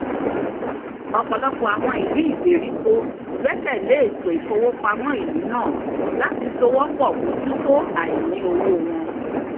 ọ̀pọ̀lọpọ̀ àwọn ìlú ìgbèríko gbẹ́kẹ̀lé ètò ìfówopámọ́ ìlú náà láti sowópọ̀ mójútó àìní owó wọn